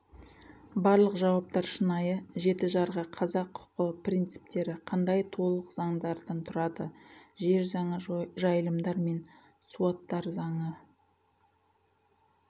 барлық жауаптар шынайы жеті жарғы қазақ құқы принциптері қандай толық заңдардан тұрады жер заңы жайылымдар мен суаттар заңы